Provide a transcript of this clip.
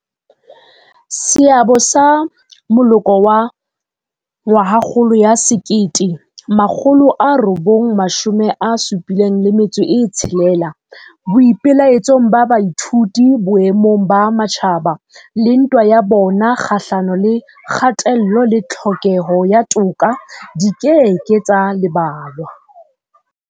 Seabo sa moloko wa 1976 boipelaetsong ba baithuti boemong ba matjhaba le ntwa ya bona kgahlano le kgatello le tlhokeho ya toka di ke ke tsa lebalwa.